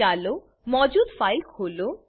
ચાલો મોજૂદ ફાઈલ ખોલો